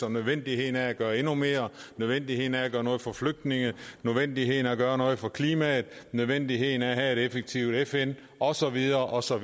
om nødvendigheden af at gøre endnu mere nødvendigheden af at gøre noget for flygtninge nødvendigheden af at gøre noget for klimaet nødvendigheden af at have et effektivt fn og så videre og så